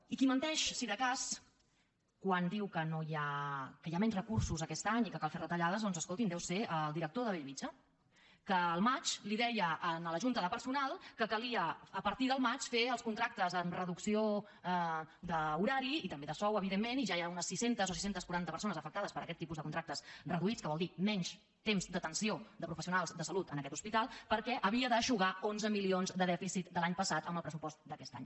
i qui menteix si de cas quan diu que hi ha menys recursos aquest any i que cal fer retallades doncs escolti’m deu ser el director de bellvitge que al maig deia a la junta de personal que calia a partir del maig fer els contractes amb reducció d’horari i també de sou evidentment i ja hi ha unes sis cents o sis cents i quaranta persones afectades per aquest tipus de contractes reduïts que vol dir menys temps d’atenció de professionals de salut en aquest hospital perquè havia d’eixugar onze milions de dèficit de l’any passat amb el pressupost d’aquest any